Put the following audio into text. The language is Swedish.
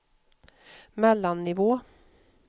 mellannivå